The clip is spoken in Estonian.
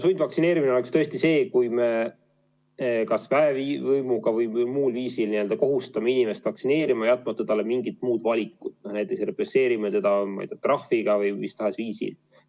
Sundvaktsineerimine oleks tõesti see, kui me kas väevõimuga või muul viisil kohustame inimest vaktsineerima, jätmata talle mingit muud valikut, näiteks represseerime teda trahviga või mis tahes muul viisil.